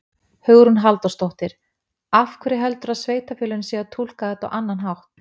Hugrún Halldórsdóttir: Af hverju heldurðu að sveitarfélögin séu að túlka þetta á annan hátt?